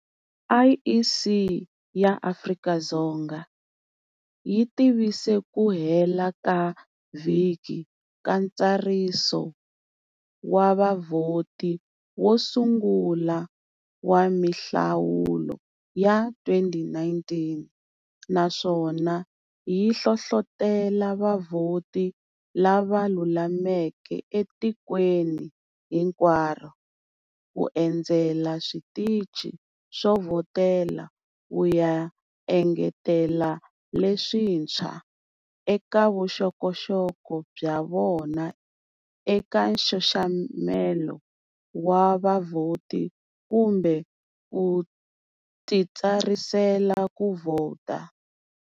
IEC ya Afrika-Dzonga yi tivise ku hela ka vhiki ka ntsariso wa vavhoti wo sungula wa mihlawulo ya 2019, naswona yi hlohlotele vavhoti lava lulameke etikweni hinkwaro ku endzela switichi swo vhotela ku ya engetela leswintshwa eka voxokoxoko bya vona eka nxaxamelo wa vavhoti kumbe ku titsarisela ku vhota.